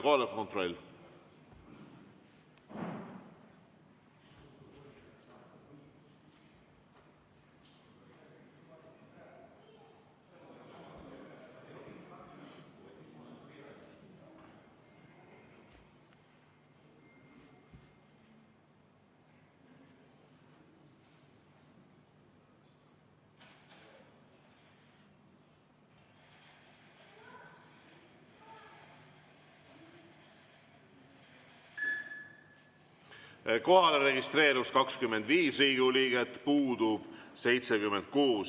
Kohalolijaks registreerus 25 Riigikogu liiget, puudub 76.